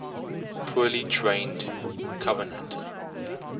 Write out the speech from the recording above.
poorly trained covenanter